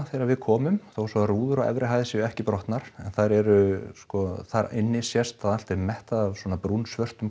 þegar við komum þó svo að rúður séu ekki brotnar en þær eru þar inni sést að allt er mettað af svona